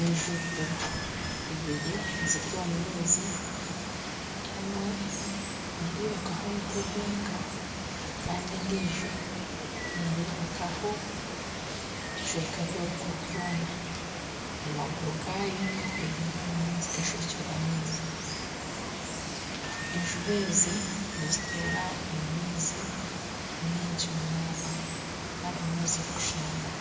Enju ibiri ziri omu maizi emwe nerebekwaho omutwe gwonka Kandi endiijo nerebekwaho ebicweka by'oruguru byona amaguru gaayo gahwereire omu maizi enjubu ezi nizituura omu maizi maingi munonga kandi nimwo zirikushangwa